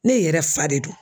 Ne yɛrɛ fa de do.